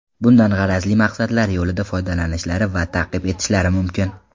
Bundan g‘arazli maqsadlari yo‘lida foydalanishlari va ta’qib etishlari mumkin.